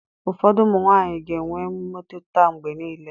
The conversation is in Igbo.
Ụfọdụ ụmụ nwaanyị ga-enwe mmetụta mgbe niile.